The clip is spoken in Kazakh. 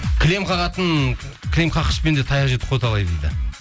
кілем қағатын кілем қаққышпен де таяқ жедік қой талай дейді